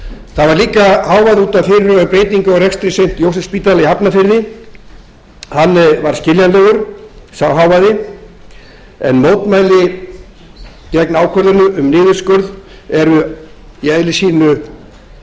það var líka hávaði út af fyrirhuguðum breytingum á rekstri st jósefsspítala í hafnarfirði sá hávaði var skiljanlegur en mótmæli gegn ákvörðunum um niðurskurð eru í eðli sínu